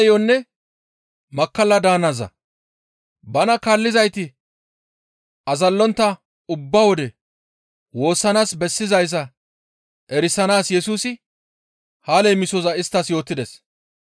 Bana kaallizayti azallontta ubba wode woossanaas bessizayssa erisanaas Yesusi ha leemisoza isttas yootides.